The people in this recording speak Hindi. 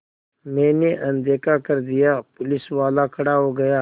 मैंने अनदेखा कर दिया पुलिसवाला खड़ा हो गया